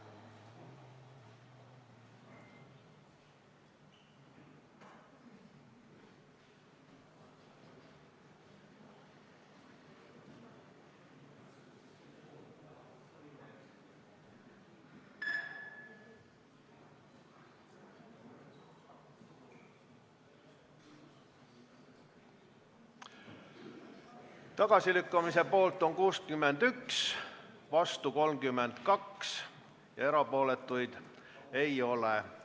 Hääletustulemused Tagasilükkamise poolt on 61, vastu 32, erapooletuid ei ole.